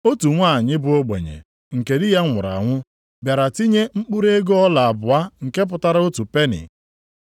Otu nwanyị bụ ogbenye, nke di ya nwụrụ anwụ, bịara tinye mkpụrụ ego ọla abụọ nke pụtara otu peni.